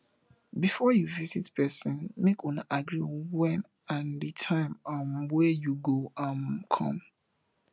bifor yu visit pesin mek una agree wen and di time um wey yu go um com